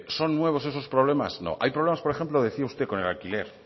son nuevos eso problemas no hay problemas por ejemplo decía usted con el alquiler